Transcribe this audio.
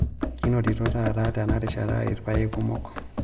Kinototo taata tenarishata ilpayek kumok.